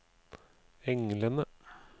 englene